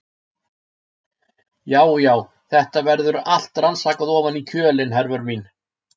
Já, já, þetta verður allt rannsakað ofan í kjölinn, Hervör mín.